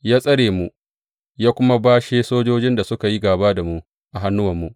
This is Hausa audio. Ya tsare mu, ya kuma bashe sojojin da suka yi gāba da mu a hannuwanmu.